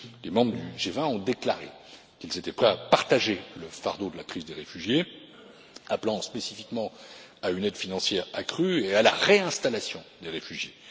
Les membres du G20 ont déclaré qu'ils étaient prêts à partager le fardeau de la crise des réfugiés, appelant spécifiquement à une aide financière accrue et à la réinstallation des réfugiés.